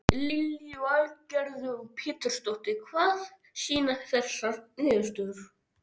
Lillý Valgerður Pétursdóttir: Hvað sýna þessar niðurstöður?